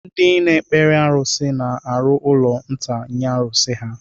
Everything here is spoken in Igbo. Ndị na-ekpere arusi na-arụ ụlọ nta nye arusi ha.